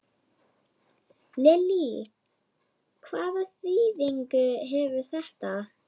Lillý: Hvaða þýðingu hefur þetta?